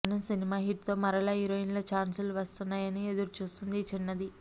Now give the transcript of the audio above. మనం cinema hit తో మరల హీరోయిన్ ఛాన్స్ లు వస్తాయి అని ఎదురు చూస్తుంది ఈ చిన్నది